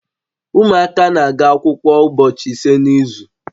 Ụmụaka na-aga akwụkwọ ụbọchị ise n'izu